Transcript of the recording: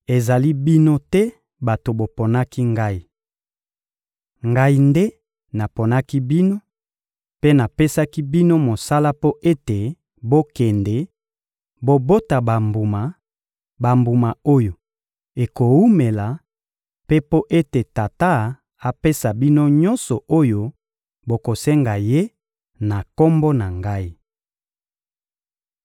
Ezali bino te bato boponaki Ngai! Ngai nde naponaki bino mpe napesaki bino mosala mpo ete bokende, bobota bambuma, bambuma oyo ekowumela; mpe mpo ete Tata apesa bino nyonso oyo bokosenga Ye na Kombo na Ngai.